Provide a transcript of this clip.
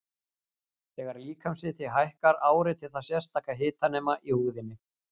Þegar líkamshiti hækkar áreitir það sérstaka hitanema í húðinni.